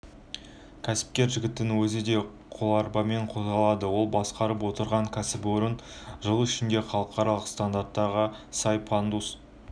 кәсіпкер жігіттің өзі де қоларбамен қозғалады ол басқарып отырған кәсіпорын жыл ішінде халықаралық стандарттарға сай пандус